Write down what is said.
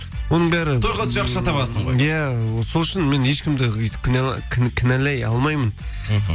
оның бәрі тойға өтсе ақша табасың ғой иә вот сол үшін мен ешкімді өйтіп кінәлай алмаймын мхм